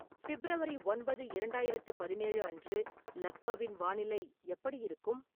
February ஒன்பது இரண்டாயிரத்து பதினேழு அன்று லக்னோவின் வானிலை எப்படி இருக்கும்